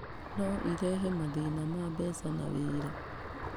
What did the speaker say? No ĩrehe mathĩna ma mbeca na wĩra.